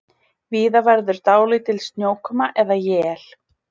Víða verður dálítil snjókoma eða él